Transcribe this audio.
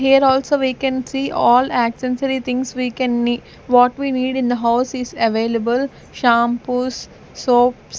here also we can see all accessory things we can need what we need in the house is available shampoos soaps.